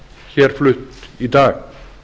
hér flutt í dag